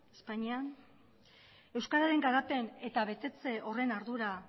espainian euskararen garapen eta betetze horren ardura